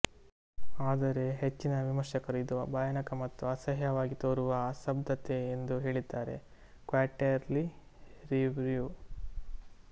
ಆದರೆ ಹೆಚ್ಚಿನ ವಿಮರ್ಶಕರು ಇದು ಭಯಾನಕ ಮತ್ತು ಅಸಹ್ಯವಾಗಿ ತೋರುವ ಅಸಂಬದ್ಧತೆ ಎಂದು ಹೇಳಿದ್ದಾರೆ ಕ್ವಾರ್ಟೆರ್ಲಿ ರಿವ್ಯೂ